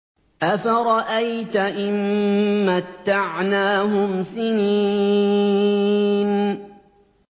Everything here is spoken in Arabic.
أَفَرَأَيْتَ إِن مَّتَّعْنَاهُمْ سِنِينَ